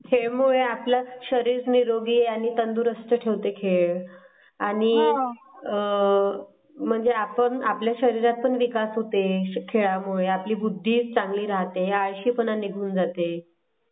खेळ मुळेआपलं शरीर निरोगी आणि तंदुरुस्त ठेवते खेळ. आणि आ म्हणजे आपण आपल्या शरीरातून विकास होते खेळामुळे आपली बुद्धी चांगली राहते आळशी पण निघून जाते खेळामुळे.